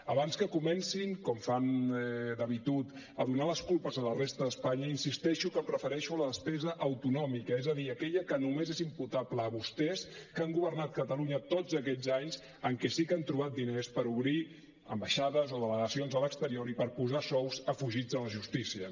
abans que comencin com fan d’habitud a donar les culpes a la resta d’espanya insisteixo que em refereixo a la despesa autonòmica és a dir aquella que només els és imputable a vostès que han governat catalunya tots aquests anys en què sí que han trobat diners per obrir ambaixades o delegacions a l’exterior i per posar sous a fugits de la justícia